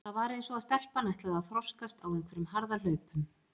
Það var eins og stelpan ætlaði að þroskast á einhverjum harðahlaupum.